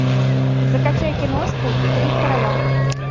закачай киношку три короля